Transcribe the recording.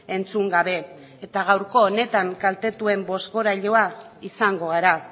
entzun gabe eta gaurko honetan kaltetuen bozgorailua izango gara